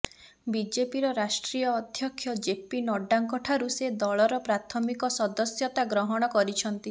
ବିଜେପିର ରାଷ୍ଟ୍ରୀୟ ଅଧ୍ୟକ୍ଷ ଜେପି ନଡ୍ଡାଙ୍କଠାରୁ ସେ ଦଳର ପ୍ରାଥମିକ ସଦସ୍ୟତା ଗ୍ରହଣ କରିଛନ୍ତି